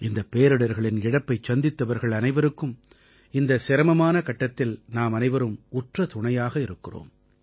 இந்தப் பேரிடர்களின் இழப்பைச் சந்தித்தவர்கள் அனைவருக்கும் இந்த சிரமமான கட்டத்தில் நாமனைவரும் உற்ற துணையாக இருக்கிறோம்